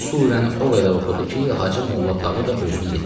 Bu surəni o qədər oxudu ki, Hacı Molla Tağı da özünü yetirdi.